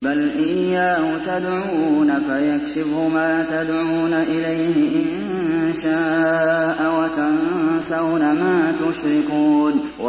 بَلْ إِيَّاهُ تَدْعُونَ فَيَكْشِفُ مَا تَدْعُونَ إِلَيْهِ إِن شَاءَ وَتَنسَوْنَ مَا تُشْرِكُونَ